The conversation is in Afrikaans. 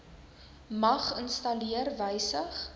mag installeer wysig